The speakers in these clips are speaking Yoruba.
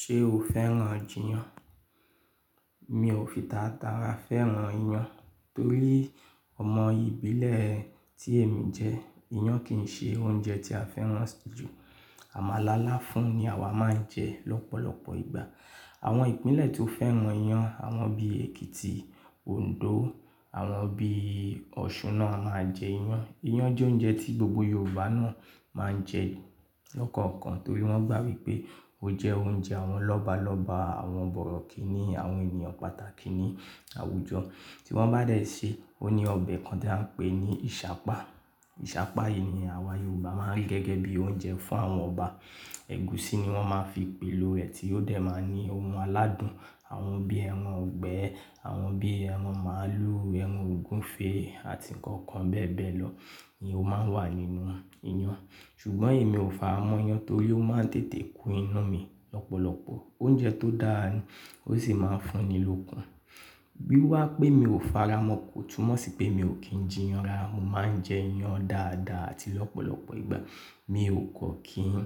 Ṣé o fẹ́ràn jíyan? Mi ò fi tàràtàrà fẹ́ràn iyán torí ọmọ ìbílẹ̀ tí èmi jẹ́, iyán kì í ṣe oúnjẹ tí a fẹ́ràn jù. Àmàlà láfún ni àwa máa ń jẹ lọ́pọ̀lọpọ̀ ìgbà. Àwọn ìpínlẹ̀ tó fẹ́ràn iyán, àwọn bí Èkìtì, Òǹdó, àwọn bí Ọ̀ṣun náà máa ń jẹ iyán. Iyán jẹ́ oúnjẹ tí gbogbo Yorùbá náà máa ń jẹ lọ́kàn-kan torí wọ́n gbà wípé ó jẹ́ oúnjẹ àwọn lọ́balọ́ba, àwọn bọ̀rọ̀kìnní, àwọn ènìyàn pàtàkì ní àwùjọ. Tí wọ́n bá dé ṣe, ó ní ọbẹ̀ kan tí à ń pè ní Ìṣàpá. Ìṣàpá yìí ni àwa Yorùbá máa ń rí gẹ́gẹ́ bíi oúnjẹ fún àwọn ọba. Ẹ̀gúsí ni wọ́n máa ń fi pèlò rẹ̀ tí ó dẹ̀ máa ní ohun aládùn, àwọn bí ẹran ọ̀gbẹ́, àwọn bí ẹran màálù, ẹran ògúnfe àti nǹkan kan bẹ́ẹ̀ bẹ́ẹ̀ lọ ni ó máa ń wà nínú iyán. Ṣùgbọ́n èmi ò faramọ́ iyán torí ó máa ń tètè kún inú mi lọ́pọ̀lọpọ̀. Oúnjẹ tó dáa ni, ó sì máa ń fún ni lókun. Bí wá pé mi ò faramọ́ kó túmọ̀ sí pé mi ò kí ń jiyàn rárá. Mo máa ń jẹ iyán dáadáa àti lọ́pọ̀lọpọ̀ ìgbà. Mi ò kọ́ kí n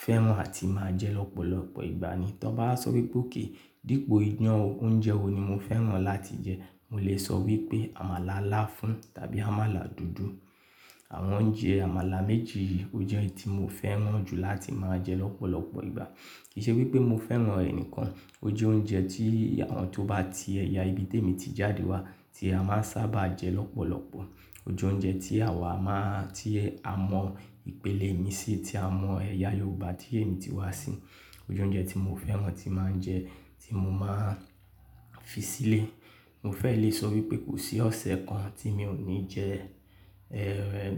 fẹ́ràn àti máa jẹ lọ́pọ̀lọpọ̀ ìgbà ni. Tọ́ bá sọ wípé òkè dípò iyán, oúnjẹ wo ni mo fẹ́ràn láti jẹ, mo lè sọ wípé àmàlà láfún tàbí àmàlà dúdú. Àwọn oúnjẹ àmàlà méjì yìí ó jẹ́ ẹ́ tí mo fẹ́ràn jù láti máa jẹ lọ́pọ̀lọpọ̀ ìgbà. Kì í ṣe wípé mo fẹ́ràn rẹ̀ nìkan, ó jẹ́ oúnjẹ tí àwọn tó bá ti ẹ̀yà ibi tí èmi ti jáde wá tí a máa ń sábà jẹ lọ́pọ̀lọpọ̀. Ó jẹ́ oúnjẹ tí àwa máa, tí a mọ ìpínlẹ̀ mi sí, tí a mọ ẹ̀yà Yorùbá tí èmi ti wá sí. Ó jẹ́ oúnjẹ tí mo fẹ́ràn tí màá ń jẹ, tí mo máa ń fi sílé. Mo fẹ́ lè sọ wípé kò sí ọ̀sẹ̀ kan tí mi ò ní jẹ,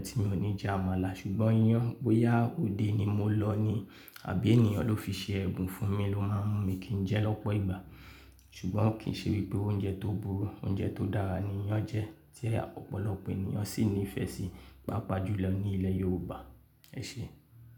tí mi ò ní jẹ àmàlà. Ṣùgbọ́n iyán, bóyá òde ni mo lọ ni àbí ènìyàn ló fi ṣe ẹ̀bùn fún mi ló máa ń mú mi kí ń jẹ lọ́pọ̀ ìgbà. Ṣùgbọ́n kì í ṣe wípé oúnjẹ tó burú, oúnjẹ tó dára ni iyán jẹ́ tí ọ̀pọ̀lọpọ̀ ènìyàn sì nífẹ̀ẹ́ sí, pàápàá jùlọ ní ilẹ̀ Yorùbá. Ẹ ṣé.